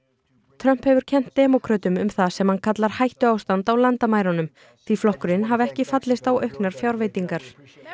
Trump hefur kennt demókrötum um það sem hann kallar hættuástand á landamærunum því flokkurinn hafi ekki fallist á auknar fjárveitingar